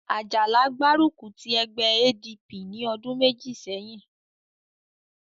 Àjàlá gbárùkù ti ẹgbẹ́ ADP ní ọdún méjì sẹ́yìn